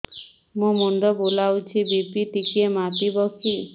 ମୋ ମୁଣ୍ଡ ବୁଲାଉଛି ବି.ପି ଟିକିଏ ମାପିବ କି